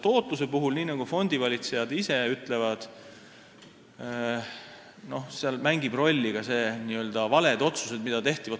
Tootluse puhul mängivad rolli, nii nagu fondivalitsejad ise ütlevad, ka valed otsused, mida on tehtud.